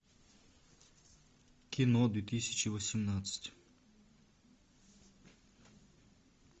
кино две тысячи восемнадцать